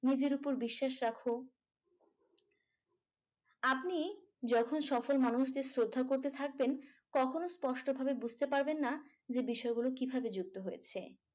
নিজের উপর বিশ্বাস রাখো আপনি যখন সফল মানুষদের শ্রদ্ধা করতে থাকবেন কখনো স্পষ্টভাবে বুঝতে পারবেন না যে বিষয়গুলো কিভাবে যুক্ত হয়েছে।